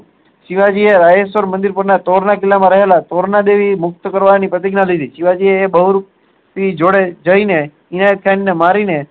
શિવાજી એ મંદિર પર ના તોર ના કિલ્લા માં રહેલા અને તોરના દેવી ને મુક્ત કરવાની પ્રતીગ્ય્ના લીધેલી શિવજીએ બહુરુઓ પીર જોડે જાય ને અતિયત ખાન ને મારી ને